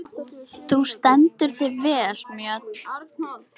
Þú stendur þig vel, Mjöll!